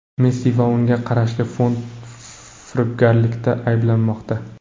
Messi va unga qarashli fond firibgarlikda ayblanmoqda.